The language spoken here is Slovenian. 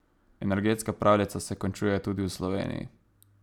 Energetska pravljica se končuje tudi v Sloveniji.